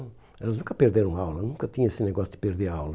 Elas nunca perderam aula, nunca tinha esse negócio de perder aula.